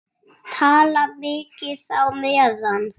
Tala mikið á meðan.